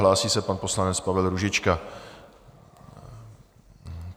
Hlásí se pan poslanec Pavel Růžička.